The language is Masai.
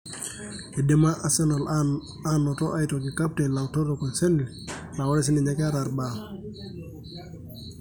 Eidima Arsenal anoto aitoki Captain Laurent Koscielny laa orsininye keta ibaa.